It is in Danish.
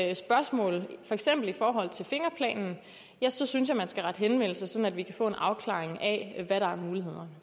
er spørgsmål for eksempel i forhold til fingerplanen ja så synes jeg at man skal rette henvendelse sådan at vi kan få en afklaring af hvad der er muligheder